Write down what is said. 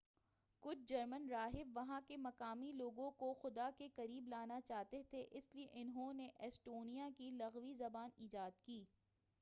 کچھ جرمن راحب وہاں کے مقامی لوگوں کو خدا کے قریب لانا چاہتے تھے اسلئے انہوں نے ایسٹونیا کی لُغوی زبان ایجاد کی